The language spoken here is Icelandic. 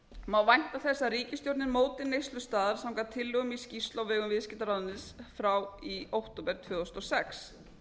má vænta þess að ríkisstjórnin móti neyslustaðal samkvæmt tillögum í skýrslu á vegum viðskiptaráðuneytisins frá því í október tvö þúsund og sex